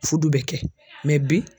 Fudu bɛ kɛ bi.